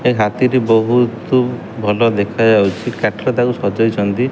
ଏ ହାତୀ ଟି ବହୁତ୍ ଭଲ ଦେଖା ଯାଉଛି। କାଠ ତାକୁ ସଜଉଛନ୍ତି।